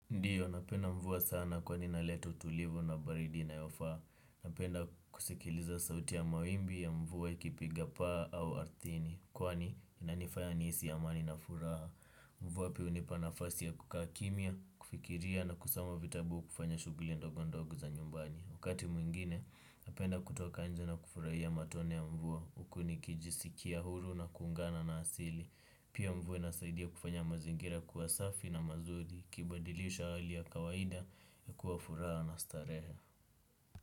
Ndiyo, napenda mvua sana kwani inaleta tulivu na baridi inayofaa. Napenda kusikiliza sauti ya mawimbi ya mvua ikipiga paa au ardhini. Kwani inanifanya nihisi amani na furaha mvua pia hunipa nafasi ya kukaa kimya, kufikiria na kusoma vitabu kufanya shughuli ndogondogo za nyumbani. Wakati mwingine, napenda kutoka nje na kufurahia matone ya mvua. Huku nikijisikia huru na kuungana na asili. Pia mvua inasaidia kufanya mazingira kuwa safi na mazuri. Kibadilisha hali ya kawaida na kuwa furaha na starehe.